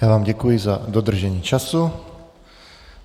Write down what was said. Já vám děkuji za dodržení času.